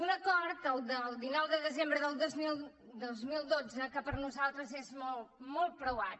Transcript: un acord el del dinou de desembre del dos mil dotze que per a nosaltres és molt molt preuat